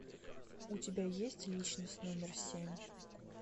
у тебя есть личность номер семь